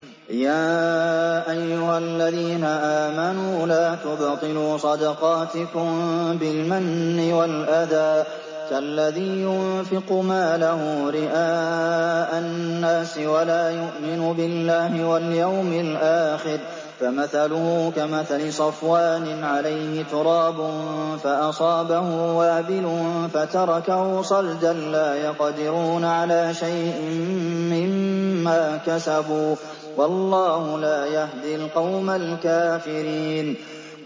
يَا أَيُّهَا الَّذِينَ آمَنُوا لَا تُبْطِلُوا صَدَقَاتِكُم بِالْمَنِّ وَالْأَذَىٰ كَالَّذِي يُنفِقُ مَالَهُ رِئَاءَ النَّاسِ وَلَا يُؤْمِنُ بِاللَّهِ وَالْيَوْمِ الْآخِرِ ۖ فَمَثَلُهُ كَمَثَلِ صَفْوَانٍ عَلَيْهِ تُرَابٌ فَأَصَابَهُ وَابِلٌ فَتَرَكَهُ صَلْدًا ۖ لَّا يَقْدِرُونَ عَلَىٰ شَيْءٍ مِّمَّا كَسَبُوا ۗ وَاللَّهُ لَا يَهْدِي الْقَوْمَ الْكَافِرِينَ